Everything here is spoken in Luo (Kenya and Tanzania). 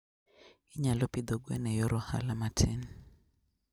Inyalo pidho gwen e yor ohala matin.